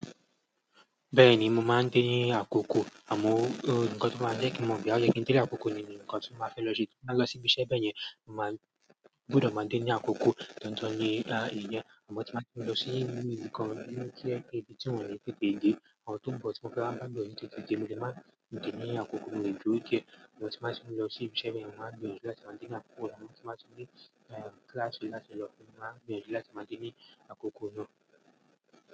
Bẹ́ẹ̀ni, mo máa ń dé ní àkókò àmọ́ nǹkan tó máa ń jẹ́ kí n mo bóyá oyẹ́ kín dé ní àkókò ni nǹkan tí mo máa fẹ́ lọ ṣe tí n bá lọ síbi iṣẹ́ bẹ́yẹn, mo màá gbọdọ̀ máa dé ní àkókò dandan ní ìyẹn àmọ́ tí n bá ti fẹ́ lọ sí ibi tó jẹ́ pé ibi tí wọ́n ní tètè dé, àwọn tó ń bọ̀ tí mo fẹ́ wá mú lọ́dọ̀ yín tó ti di, mo lè máa dé dé ní àkókò mo lè dúró díẹ̀ àmọ́ tí n bá tín lọ sí ibi iṣẹ́ bẹ́yẹ̀n, mo màá gbìyànjú láti máa dé ní àkókò, tí màá fi ní kíláàsì láti lọ, màá gbìyànjú láti máa dín ní àkókò náà.